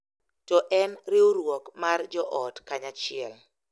To en riwruok mar joot kanyachiel.